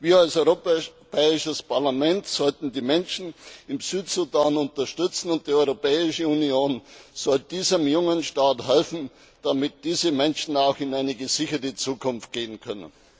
Wir als Europäisches Parlament sollten die Menschen im Südsudan unterstützen, und die Europäische Union sollte diesem jungen Staat helfen, damit diese Menschen auch in eine gesicherte Zukunft gehen können.